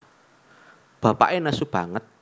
Bapaké nesu banget